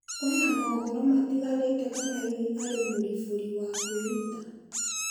Kwĩna mohoro matiganite kana hihi arĩ mũribũri wa kwĩruta.